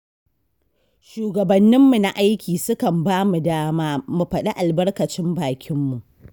Shugabanninmu na aiki sukan ba mu dama, mu faɗi albakacin bakinmu.